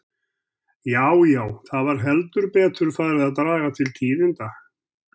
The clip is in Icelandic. Já, já, það var heldur betur farið að draga til tíðinda!